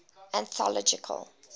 anthological